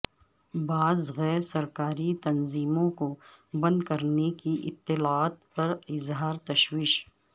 بعض غیر سرکاری تنظیموں کو بند کرنے کی اطلاعات پر اظہار تشویش